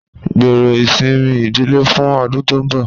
Gbero isinmi idile fun ọdun to nbọ